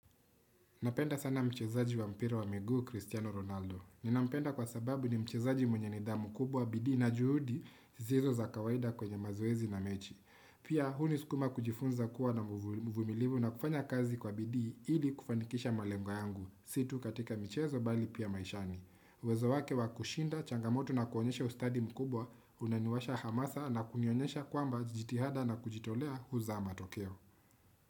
Napenda sana mchezaji wa mpira wa miguu, Cristiano Ronaldo. Ninampenda kwa sababu ni mchezaji mwenye nidhamu kubwa, bidii na juhudi, zisiso za kawaida kwenye mazoezi na mechi. Pia, hunisukuma kujifunza kuwa na mvumilivu na kufanya kazi kwa bidii, ili kufanikisha malengo yangu, si tu katika michezo bali pia maishani. Uwezo wake wa kushinda, changamoto na kuonyesha ustadi mkubwa, unaniwasha hamasa na kunionyesha kwamba jitihada na kujitolea huzaa matokeo.